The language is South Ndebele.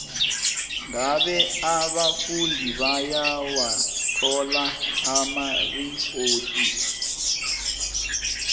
ngabe abafundi bayawathola amaripoti